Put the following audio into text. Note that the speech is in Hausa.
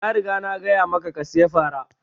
Na riga na gaya maka ka saya fara!